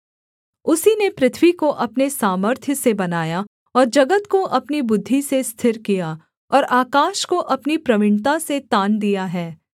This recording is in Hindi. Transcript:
उसी ने पृथ्वी को अपने सामर्थ्य से बनाया और जगत को अपनी बुद्धि से स्थिर किया और आकाश को अपनी प्रवीणता से तान दिया है